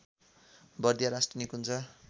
बर्दिया राष्ट्रिय निकुञ्ज